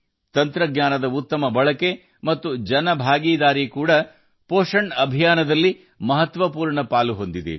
ತಂತ್ರಜ್ಞಾನದ ಉತ್ತಮ ಬಳಕೆ ಮತ್ತು ಸಾರ್ವಜನಿಕ ಸಹಭಾಗಿತ್ವವು ಪೌಷ್ಟಿಕಾಂಶ ಅಭಿಯಾನದ ಪ್ರಮುಖ ಭಾಗವಾಗಿದೆ